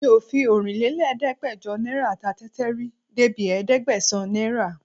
Mi ò fi ọ̀rinlélẹ́gbẹ́jọ náírà ta tẹ́tẹ́ rí débi ẹ̀ẹ́dẹ́gbẹ̀sán náírà